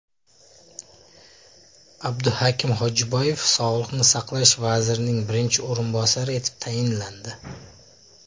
Abduhakim Xojiboyev Sog‘liqni saqlash vazirining birinchi o‘rinbosari etib tayinlandi.